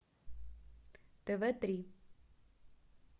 тв три